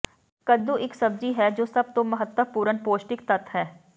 ਕੱਦੂ ਇੱਕ ਸਬਜ਼ੀ ਹੈ ਜੋ ਸਭ ਤੋਂ ਮਹੱਤਵਪੂਰਨ ਪੌਸ਼ਟਿਕ ਤੱਤ ਹੈ